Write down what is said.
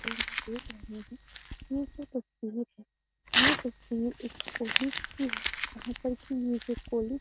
और जो देख रहे हैं ये जो तस्वीर है ये तस्वीर उस कॉलेज की है जहाँ पर की ये जो कॉलेज --